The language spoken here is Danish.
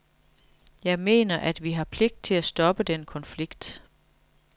Jeg mener, at vi har pligt til at stoppe den konflikt.